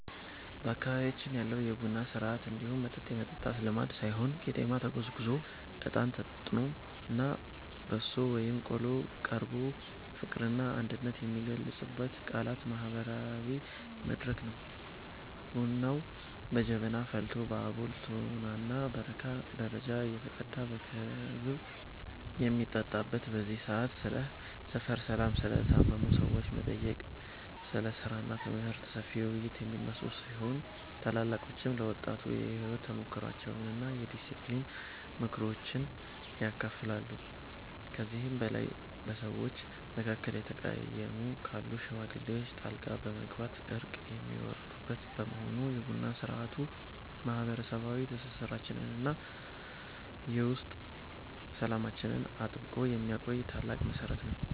በአካባቢያችን ያለው የቡና ሥርዓት እንዲሁ መጠጥ የመጠጣት ልማድ ሳይሆን ቄጤማ ተጎዝጉዞ፣ እጣን ታጥኖና በሶ ወይም ቆሎ ቀርቦ ፍቅርና አንድነት የሚገለጽበት ታላቅ ማህበራዊ መድረክ ነው። ቡናው በጀበና ፈልቶ በአቦል፣ ቶናና በረካ ደረጃ እየተቀዳ በክብ በሚጠጣበት በዚህ ሰዓት፣ ስለ ሰፈር ሰላም፣ ስለ ታመሙ ሰዎች መጠየቅ፣ ስለ ሥራና ትምህርት ሰፊ ውይይቶች የሚነሱ ሲሆን፣ ታላላቆችም ለወጣቱ የሕይወት ተሞክሯቸውንና የዲስፕሊን ምክሮችን ያካፍላሉ። ከዚህም በላይ በሰዎች መካከል የተቀየሙ ካሉ ሽማግሌዎች ጣልቃ በመግባት እርቅ የሚያወርዱበት በመሆኑ፣ የቡና ሥርዓቱ ማህበረሰባዊ ትስስራችንንና የውስጥ ሰላማችንን አጥብቆ የሚያቆይ ታላቅ መሠረት ነው።